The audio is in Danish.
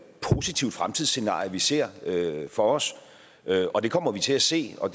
positivt fremtidsscenarie vi ser for os og det kommer vi til at se og